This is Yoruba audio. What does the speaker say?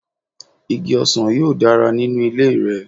Igi ọsàn yóò dára nínú ilé rẹ.